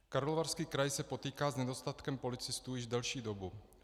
Karlovarský kraj se potýká s nedostatkem policistů již delší dobu.